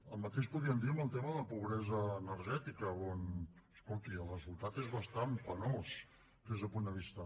el mateix podríem dir en el tema de la pobresa energètica on escolti el resultat és bastant penós des d’aquest punt de vista